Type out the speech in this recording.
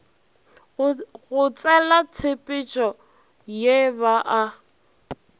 go tselatshepetšo ye ba a